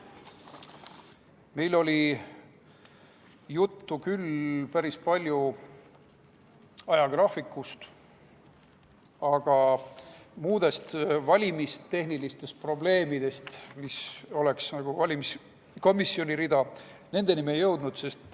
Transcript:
Meil oli küll päris palju juttu ajagraafikust, aga valimistehniliste probleemideni, mis oleks nagu valimiskomisjoni rida, me ei jõudnud.